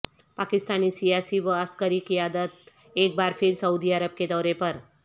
پاکستانی سیاسی و عسکری قیادت ایک بار پھر سعودی عرب کے دورے پر